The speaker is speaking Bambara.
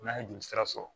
N'a ye jolisira sɔrɔ